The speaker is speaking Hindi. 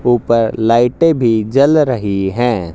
ऊपर लाइटें भी जल रही हैं।